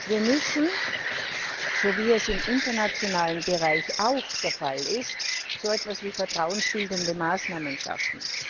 Wir müssen, wie es im internationalen Bereich auch der Fall ist, so etwas wie vertrauensbildende Maßnahmen schaffen.